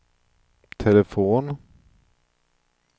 telefon